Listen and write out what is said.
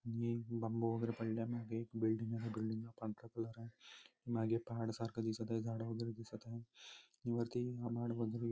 आणि बांबू वगैरे पडल्या माघे एक बिल्डिंग आहे बिल्डिंग ला पांढरा कलर आहे माघे पहाड सारख दिसत आहे झाड वगेरे दिसत आहे आणि वरती --